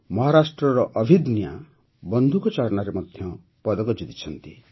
ମହାରାଷ୍ଟ୍ରର ଅଭିଦନ୍ୟା ବନ୍ଧୁକଚାଳନାରେ ପଦକ ଜିତିଛନ୍ତି